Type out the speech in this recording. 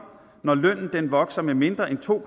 når lønnen vokser med mindre end to